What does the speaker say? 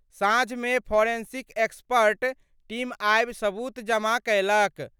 साँझ मे forensic expert team आबि सबूत जमा कयलक।